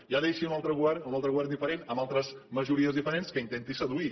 ja deixin un altre govern un altre govern diferent amb altres majories diferents que intenti seduir